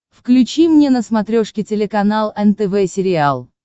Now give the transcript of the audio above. включи мне на смотрешке телеканал нтв сериал